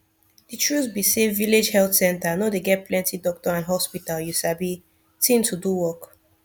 de truth be say village health center no dey get plenti doctor and hospital you sabi thing to do work